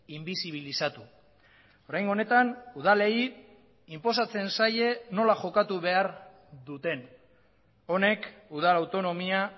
inbizibilizatu oraingo honetan udalei inposatzen zaie nola jokatu behar duten honek udal autonomia